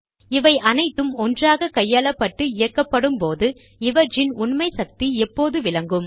இவை அனைத்தும் ஒன்றாக கையாளப்பட்டு இயக்கப்படும் போது இவற்றின் உண்மை சக்தி எப்போது விளங்கும்